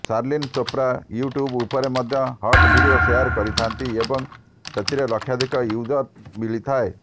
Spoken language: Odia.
ଶାର୍ଲିନ୍ ଚୋପ୍ରା ୟୁଟ୍ୟୁବ ଉପରେ ମଧ୍ୟ ହଟ ଭିଡ଼ିଓ ସେୟାର କରିଥାନ୍ତି ଏବଂ ସେଥିଲେ ଲକ୍ଷାଧିକ ଭିୟୁଜ୍ ମିଳିଥାଏ